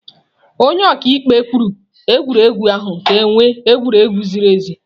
Onye ọka ikpe kwụsịrị egwuregwu ahụ ka ewe egwuregwu ziri ezi.